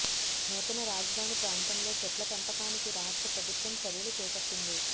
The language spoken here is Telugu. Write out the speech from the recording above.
నూతన రాజధాని ప్రాంతంలో చెట్ల పెంపకానికి రాష్ట్ర ప్రభుత్వం చర్యలు చేపట్టింది